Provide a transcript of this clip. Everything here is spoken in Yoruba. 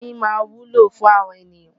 Oyin máa wúlò fún àwa ènìyàn.